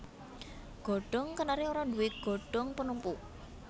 Godhong kenari ora duwé godhong penumpu